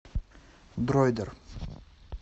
дроидер